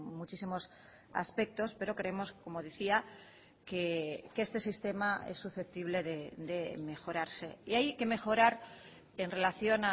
muchísimos aspectos pero creemos como decía que este sistema es susceptible de mejorarse y hay que mejorar en relación